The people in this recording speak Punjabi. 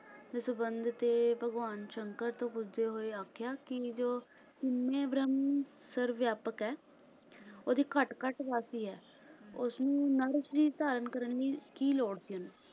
ਦੇ ਸੰਬੰਧ ਤੇ ਭਗਵਾਨ ਸ਼ੰਕਰ ਤੋਂ ਪੁੱਛਦੇ ਹੋਏ ਆਖਿਆ ਕਿ ਇਹ ਜੋ ਹਉਮੈਂ ਬ੍ਰਹਮ ਸ੍ਰਵਵਯਾਪਕ ਹੈ ਓਹਦੀ ਘਟ ਘਟ ਵਾਸੀ ਹੈ ਓਹਨੂੰ ਨਰ ਸ਼ਰੀਰ ਧਾਰਨ ਕਰਨ ਦੀ ਕੀ ਲੋੜ ਸੀ ਓਹਨੂੰ?